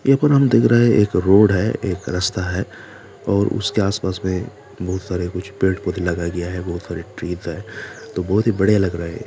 एक और हम देख रहे हैं एक रोड है एक रस्ता है और उसके आस-पास में बहुत सारे कुछ पेड़-पौधे लगाए गए हैं बहुत सारे ट्रीज हैं तो बहुत ही बढ़िया लग रहा हैं ये।